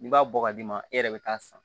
N'i b'a bɔ ka d'i ma e yɛrɛ bɛ taa san